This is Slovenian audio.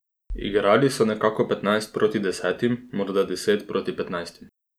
Igrali so nekako petnajst proti desetim, morda deset proti petnajstim.